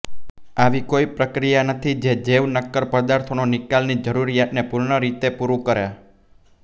આવી કોઇ પ્રક્રિયા નથી જે જૈવ નક્કર પદાર્થોનો નિકાલની જરૂરિયાતને પૂર્ણ રીતે પુરું કરે